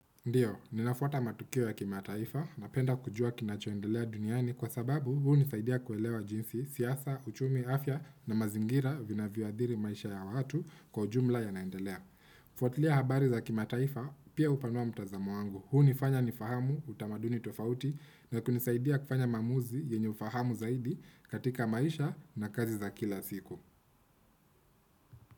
Ndio, ninafuata matukio ya kimataifa napenda kujua kinachoendelea duniani kwa sababu huu hunisaidia kuelewa jinsi, siasa, uchumi, afya na mazingira vinavyoadhiri maisha ya watu kwa ujumla yanaendelea. Fuatilia habari za kimataifa, pia upanoa mtazamo wangu. Huu nifanya nifahamu utamaduni tofauti na kunisaidia kufanya maamuzi yenye ufahamu zaidi katika maisha na kazi za kila siku.